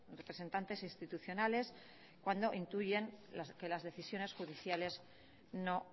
representantes institucionales cuando intuyen que las decisiones judiciales no